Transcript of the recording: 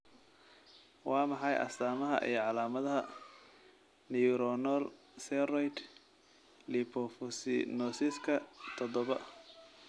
Waa maxay astamaha iyo calaamadaha Neuronal ceroid lipofuscinosiska todobaa?